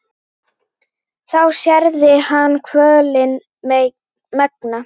þá særði hann kvölin megna.